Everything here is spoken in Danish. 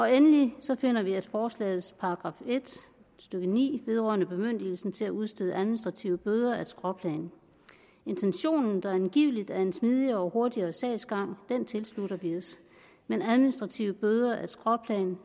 endelig finder vi at forslagets § en stykke ni vedrørende bemyndigelse til at udstede administrative bøder er et skråplan intentionen der angiveligt er en smidigere og hurtigere sagsgang tilslutter vi os men administrative bøder er et skråplan